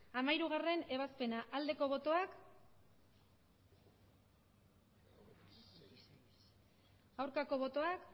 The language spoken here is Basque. hamairugarrena ebazpena aldeko botoak aurkako botoak